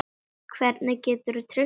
Hvernig geturðu treyst mér?